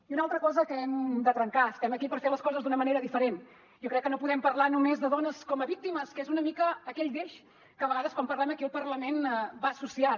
i una altra cosa que hem de trencar estem aquí per fer les coses d’una manera diferent jo crec que no podem parlar només de dones com a víctimes que és una mica aquell deix que a vegades quan parlem aquí al parlament va associat